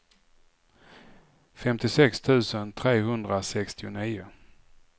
femtiosex tusen trehundrasextionio